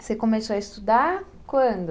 Você começou a estudar quando?